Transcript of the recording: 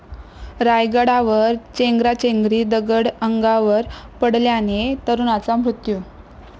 रायगडावर चेंगराचेंगरी, दगड अंगावर पडल्याने तरुणाचा मृत्यू